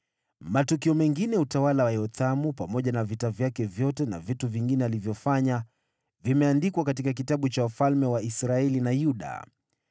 Matukio mengine ya utawala wa Yothamu, pamoja na vita vyake vyote na vitu vingine alivyofanya, vimeandikwa katika kitabu cha wafalme wa Israeli na Yuda.